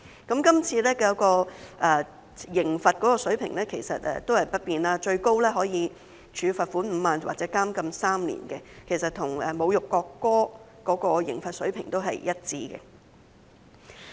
今次的刑罰水平維持不變，最高可處以罰款5萬元或監禁3年，其實與有關侮辱國歌的刑罰水平一致。